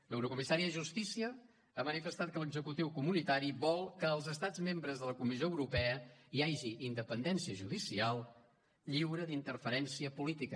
l’eurocomissària de justícia ha manifestat que l’executiu comunitari vol que als estats membres de la comissió europea hi hagi independència judicial lliure d’interferència política